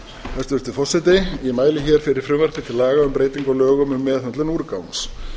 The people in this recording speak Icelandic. hæstvirtur forseti ég mæli hér fyrir frumvarpi til laga um breytingu á lögum um meðhöndlun úrgangs